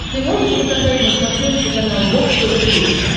ты можешь показать на смотрешке канал бокс тв плюс